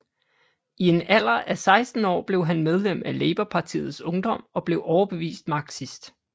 I en alder af 16 år blev han medlem af Labourpartiets ungdom og blev overbevist marxist